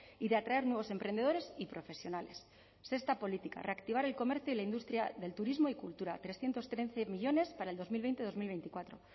y de atraer nuevos emprendedores y profesionales sexta política reactivar el comercio y la industria del turismo y cultura trescientos trece millónes para el dos mil veinte dos mil veinticuatro